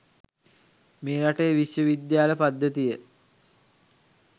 මේ රටේ විශ්ව විද්‍යාල පද්ධතිය